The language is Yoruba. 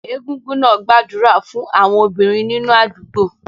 Egungun náà gbàdúrà fún àwọn obìnrin nínú àdúgbò